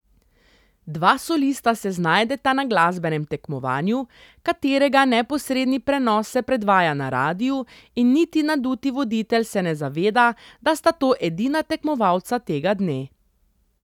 Dva solista se znajdeta na glasbenem tekmovanju, katerega neposredni prenos se predvaja na radiu in niti naduti voditelj se ne zaveda, da sta to edina tekmovalca tega dne.